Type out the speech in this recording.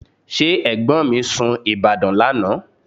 Ṣé ẹ̀gbọ́n mi sun Ìbàdàn lánàá?